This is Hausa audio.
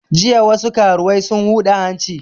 Jiya wasu karuwai sun huda hanci